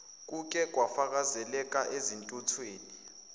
kuke kwafakazeleka ezintuthukweni